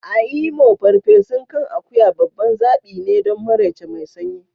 A Imo, farfesun kan akuya babban zaɓi ne don maraice mai sanyi.